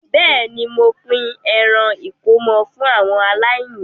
Bẹ́ẹ̀ ni, mo pín ẹran ìkómọ fú àwọn aláìní.